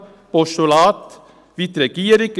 Postulat, wie die Regierung.